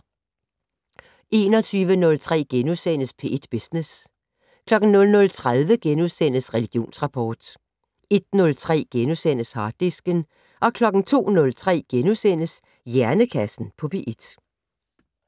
21:03: P1 Business * 00:30: Religionsrapport * 01:03: Harddisken * 02:03: Hjernekassen på P1 *